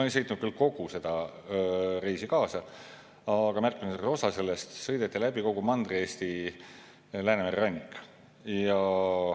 Ma ei sõitnud küll kogu seda reisi kaasa, aga märkimisväärse osa sellest, ja sõideti läbi kogu Mandri-Eesti Läänemere rannik.